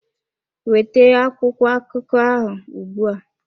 Weta akwụkwọ akụkọ ahụ ugbu a!